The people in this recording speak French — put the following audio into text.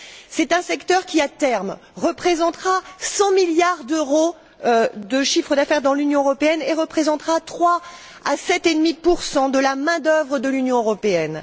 C'est un secteur qui, à terme, représentera 100 milliards d'euros de chiffre d'affaires dans l'Union européenne, qui représentera 3 à 7,5 de la main d'œuvre de l'Union européenne.